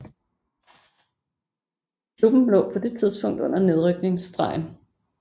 Klubben lå på det tidspunkt under nedrykningsstregen